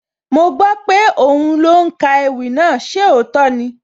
Mo gbọ́ pé òhún ló ń ka ewì náà, ṣé òótọ́ ni?